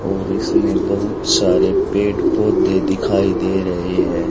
और इसमें बहुत सारे पेड़ पौधे दिखाई दे रहे है।